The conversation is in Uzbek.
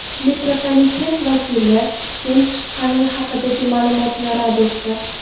Metropoliten vakili tutun chiqqani haqidagi ma’lumotni rad etdi.